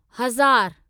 हज़ार